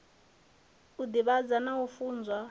u divhadza na u funza